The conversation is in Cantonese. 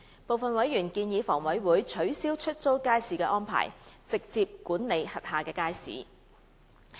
部分委員建議房委會取消出租街市安排，直接管理轄下街市。